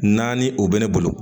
Naani o bɛ ne bolo